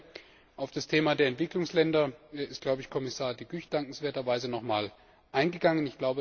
Das Zweite Auf das Thema der Entwicklungsländer ist, glaube ich, Kommissar De Gucht dankenswerterweise noch einmal eingegangen.